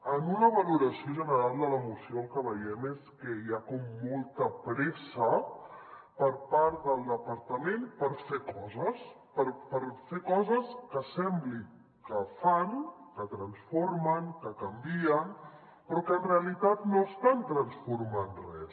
en una valoració general de la moció el que veiem és que hi ha com molta pressa per part del departament per fer coses per fer coses que sembli que fan que transformen que canvien però que en realitat no estan transformant res